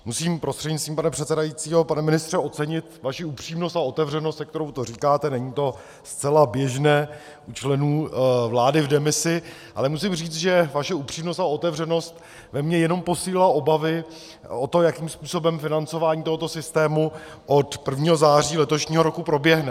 Musím prostřednictvím pane předsedajícího, pane ministře, ocenit vaši upřímnost a otevřenost, se kterou to říkáte, není to zcela běžné u členů vlády v demisi, ale musím říct, že vaše upřímnost a otevřenost ve mně jenom posílily obavy o to, jakým způsobem financování tohoto systému od 1. září letošního roku proběhne.